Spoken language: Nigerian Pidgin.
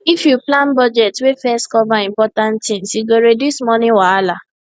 if you plan budget wey first cover important things e go reduce money wahala